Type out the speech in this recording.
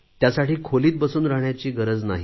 त्यासाठी खोलीत बसून राहण्याची गरज नाही